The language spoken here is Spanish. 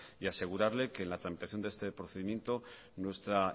y asegurarle que en la tramitación de este procedimiento nuestra